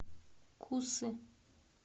кусы